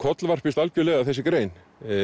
að þessi grein